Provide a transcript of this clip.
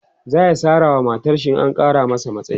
zaya Sara wa matarshi in an Kara masa matsayi